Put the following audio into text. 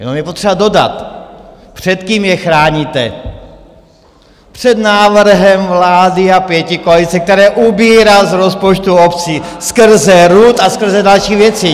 Jenom je potřeba dodat, před kým je chráníte - před návrhem vlády a pětikoalice, který ubírá z rozpočtu obcí skrze RUD a skrze další věci.